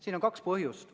Siin on kaks põhjust.